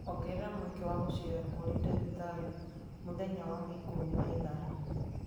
ongerera mweke wa gũceera kũrĩ ndagĩtarĩ mũthenya wa ikũmi na ithano